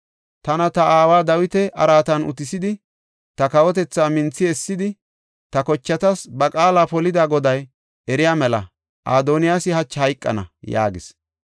Tana, ta aawa Dawita araatan utisidi, ta kawotethaa minthi essidi, ta kochatas ba qaala polida Goday eriya mela, Adoniyaasi hachi hayqana!” yaagis.